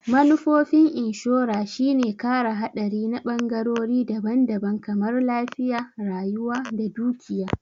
Manufofin inshora shine kare haɗari na ɓangorori daban-daban kamar lafiya, rayuwa da dukiya.